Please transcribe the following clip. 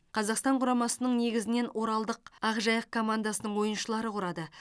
қазақстан құрамасының негізінен оралдық ақжайық командасының ойыншылары құрады